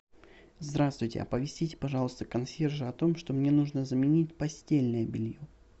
здравствуйте оповестите пожалуйста консьержа о том что мне нужно заменить постельное белье